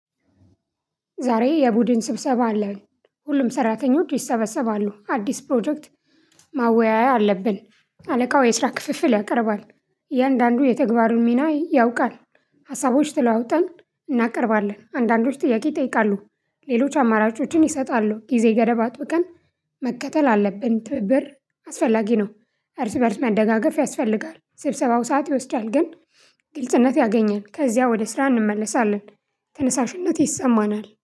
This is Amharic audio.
ዛሬ የቡድን ስብሰባ አለ። ሁሉም ሰራተኞች ይሰበሰባሉ አዲስ ፕሮጀክት ማወያያ አለብን አለቃው የስራ ክፍፍል ያቀርባል። እያንዳንዱ የተግባሩን ሚና ያውቃል ሀሳቦች ተለዋውጠን እናቀርባለን አንዳንዶች ጥያቄ ይጠይቃሉ። ሌሎች አማራጮችን ይሰጣሉ ጊዜ ገደብ አጥብቀን መከተል አለብን። ትብብር አስፈላጊ ነው። እርስ በእርስ መደጋገፍ ያስፈልጋል። ስብሰባው ሰዓት ይወስዳል ግን ግልጽነት ያገኘን ከዚያ ወደ ስራ እንመለሳለን። ተነሳሽለት ይሰማናል